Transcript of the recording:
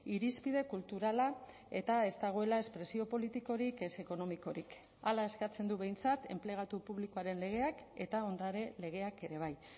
irizpide kulturala eta ez dagoela espresio politikorik ez ekonomikorik hala eskatzen du behintzat enplegatu publikoaren legeak eta ondare legeak ere bai